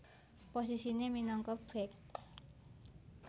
Posisine minangka bèk